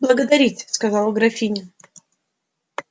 благодарить сказала графиня